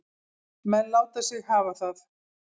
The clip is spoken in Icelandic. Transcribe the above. Menn láta sig hafa það.